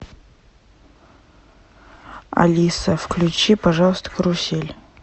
алиса включи пожалуйста карусель